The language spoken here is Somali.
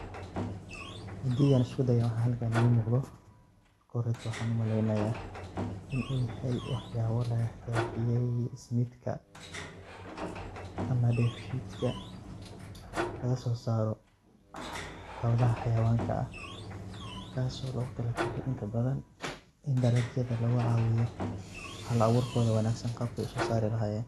Hadii an iskudayo waxa halkan igaamuqdo marka horee waxan u maleynayaa in u yahay waxyabo lagahagajiyey ismiitka ama dheef shidka laga sosaaro ah xoolaha hayawanka ah kaaso logutala galay inta badan in dalagyada lagucawiyo hal abuurkoda wanagsan qaabkey u sosaari lahayeen.